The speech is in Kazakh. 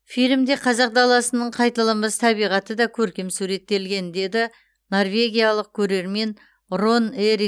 фильмде қазақ даласының қайталанбас табиғаты да көркем суреттелген деді норвегиялық көрермен рон эрик